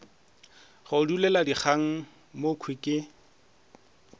re duletše dikgang mokhwi ke